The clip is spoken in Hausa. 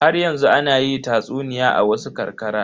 Haryanzu ana yi tatsuniya a wasu ƙarƙara.